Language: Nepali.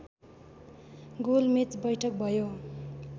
गोलमेच वैठक भयो